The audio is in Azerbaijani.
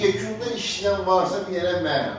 Yekunda işləyən varsa, bir yerə mənəm.